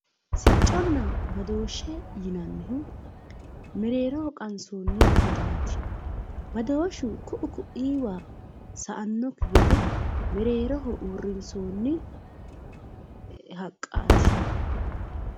sicconna badooshshe yineemmohu mereeroho qansoonni kutaati badooshshu ku'u ku'iiwa sa'annokki gede mereeroho uurrinsoonni haqqaati.